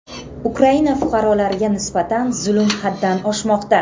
Ukraina fuqarolariga nisbatan zulm haddan oshmoqda.